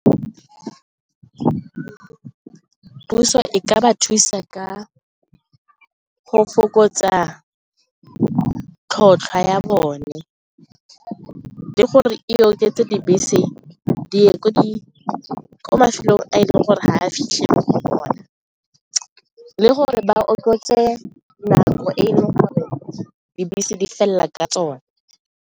Puso e ka ba thusa ka go fokotsa tlhotlhwa ya bone le gore e oketse dibese di ye ko mafelong a e leng gore ga a fitlhele go ona le gore ba okofatse nako e e leng gore dibese di felela ka tsone.